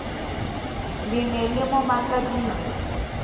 le ne le mo makaditse